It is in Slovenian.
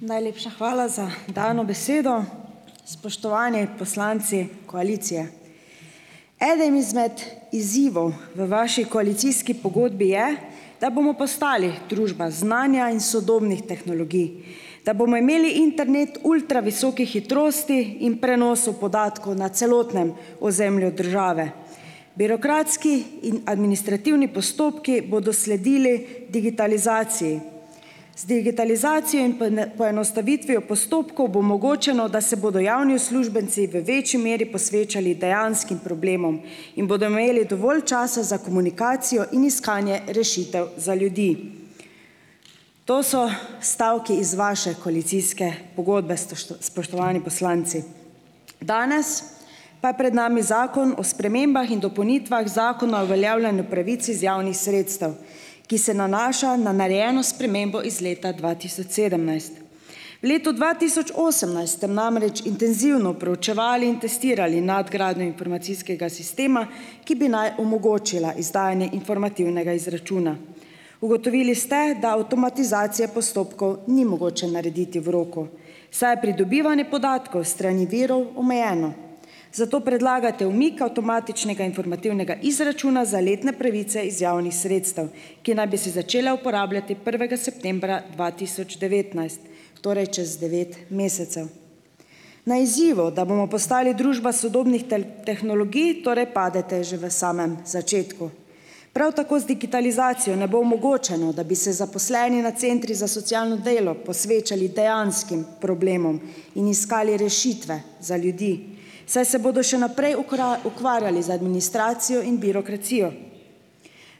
Najlepša hvala za dano besedo. Spoštovani poslanci koalicije! Eden izmed izzivov v vaši koalicijski pogodbi je, da bomo postali družba znanja in sodobnih tehnologij; da bomo imeli internet ultravisokih hitrosti in prenosov podatkov na celotnem ozemlju države; birokratski in administrativni postopki bodo sledili digitalizaciji; z digitalizacijo in poenostavitvijo postopkov bo omogočeno, da se bodo javni uslužbenci v večji meri posvečali dejanskim problemom in bodo imeli dovolj časa za komunikacijo in iskanje rešitev za ljudi. To so stavki iz vaše koalicijske pogodbe, spoštovani poslanci. Danes pa je pred nami Zakon o spremembah in dopolnitvah Zakona o uveljavljanju pravic iz javnih sredstev, ki se nanaša na narejeno spremembo iz leta dva tisoč sedemnajst. V letu dva tisoč osemnajst ste namreč intenzivno proučevali in testirali nadgradnjo informacijskega sistema, ki bi naj omogočila izdajanje informativnega izračuna. Ugotovili ste, da avtomatizacije postopkov ni mogoče narediti v roku, saj je pridobivanje podatkov s strani virov omejeno. Zato predlagate umik avtomatičnega informativnega izračuna za letne pravice iz javnih sredstev, ki naj bi se začele uporabljati prvega septembra dva tisoč devetnajst, torej čez devet mesecev. Na izzivu, da bomo postali družba sodobnih tehnologij, torej padete že v samem začetku. Prav tako z digitalizacijo ne bo omogočeno, da bi se zaposleni na centrih za socialno delo posvečali dejanskim problemom in iskali rešitve za ljudi, saj se bodo še naprej ukvarjali z administracijo in birokracijo.